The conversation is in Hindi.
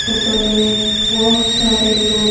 होटल में बहुत सारे लोग --